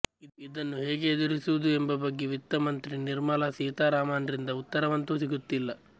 ಇದನ್ನು ಹೇಗೆ ಎದುರಿಸುವುದು ಎಂಬ ಬಗ್ಗೆ ವಿತ್ತ ಮಂತ್ರಿ ನಿರ್ಮಲಾ ಸೀತಾರಾಮನ್ರಿಂದ ಉತ್ತರವಂತೂ ಸಿಗುತ್ತಿಲ್ಲ